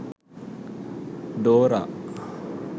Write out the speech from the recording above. dora